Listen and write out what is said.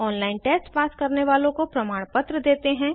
online test pass करने वालों को प्रमाणपत्र देते हैं